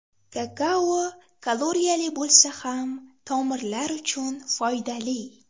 Kakao kaloriyali bo‘lsa ham tomirlar uchun foydali.